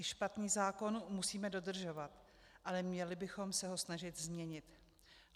I špatný zákon musíme dodržovat, ale měli bychom se ho snažit změnit.